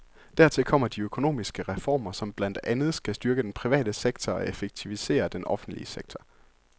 Dertil kommer de økonomiske reformer, som blandt andet skal styrke den private sektor og effektivisere den offentlige sektor.